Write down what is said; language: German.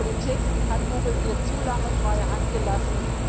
Die Politik hat Google hier zu lange freie Hand gelassen.